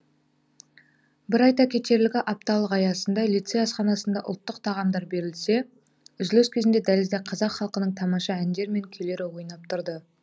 бір айта кетерлігі апталық аясында лицей асханасында ұлттық тағамдар берілсе үзіліс кезінде дәлізде қазақ халқының тамаша әндер мен күйлері ойнап тұрды